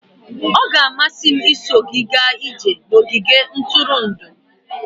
Ọ ga-amasị m iso gị gaa ije n'ogige ntụrụndụ.